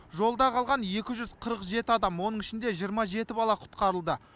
жолда қалған екі жүз қырық жеті адам оның ішінде жиырма жеті бала құтқарылды